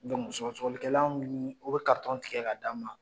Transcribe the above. sɔgɔsɔgɔlikɛlan u bɛ tigɛ k'a d'an ma.